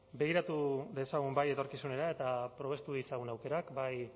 begiratu dezagun bai etorkizunera eta probestu ditzagun aukerak bai